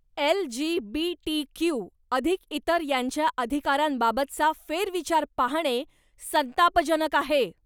LGBTQ अधिक इतर यांच्या अधिकारांबाबतचा फेरविचार पाहणे संतापजनक आहे.